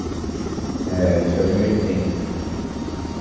É, A gente se casou em oitenta, né